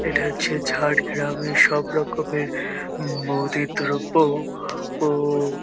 এটা হচ্ছে ঝাড়গ্রামের সব রকমের মুদীর দ্রব্য ও --